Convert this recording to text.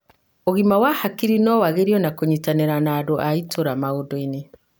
ũgima mwega wa hakiri no wagĩrio na kũnyitanĩra na andũ a itũra maunduinĩ.